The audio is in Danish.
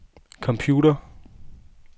computer